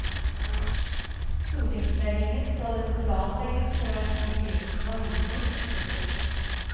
Stortingsmeldingen skal etter planen legges frem i begynnelsen av juni. punktum